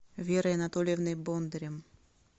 верой анатольевной бондарем